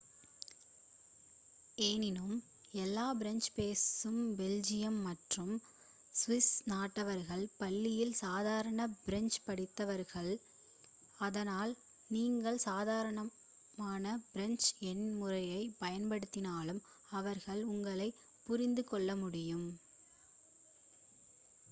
எனினும் எல்லா பிரெஞ்ச் பேசும் பெல்ஜியம் மற்றும் சுவிஸ் நாட்டவர்கள் பள்ளியில் சாதாரண பிரெஞ்ச் படித்திருப்பார்கள் அதனால் நீங்கள் சாதாரண பிரெஞ்ச் எண் முறையைப் பயன்படுத்தினாலும் அவர்களால் உங்களைப் புரிந்து கொள்ள முடியும்